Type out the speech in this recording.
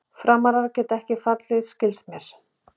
Frammarar geta ekki fallið skilst mér.